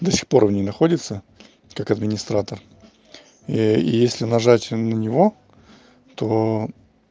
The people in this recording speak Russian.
да сих пор он не находится как администратор и если нажать на него то